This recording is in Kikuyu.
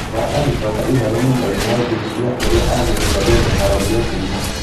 Bara agĩcoka ihenya nyumbainĩ ya ũthuthuria rĩrĩa athuthuria meharagĩria kuuma.